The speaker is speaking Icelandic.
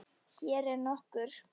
Hér eru nokkur